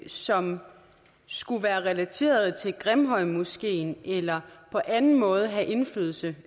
som skulle være relateret til grimhøjmoskeen eller på anden måde have indflydelse